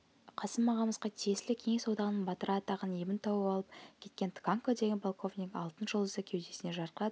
қасым ағамызға тиесілі кеңес одағының батыры атағын ебін тауып алып кеткен тканко деген полковник алтын жұлдызды кеудесіне жарқырата